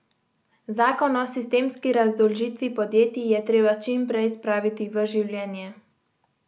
Zakon o sistemski razdolžitvi podjetij je treba čim prej spraviti v življenje.